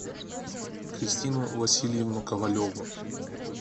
кристину васильевну ковалеву